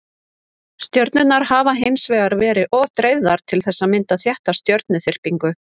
Stjörnurnar hafa hins vegar verið of dreifðar til þess að mynda þétta stjörnuþyrpingu.